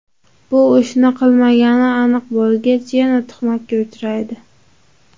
Bu ishni qilmagani aniq bo‘lgach, yana tuhmatga uchraydi.